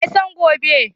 Wa ya san gobe?